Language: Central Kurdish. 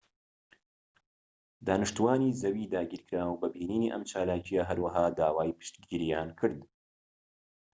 دانیشتووانی زەوی داگیرکراو بە بینینی ئەم چالاکیە هەروەها داوای پشتگیریان کرد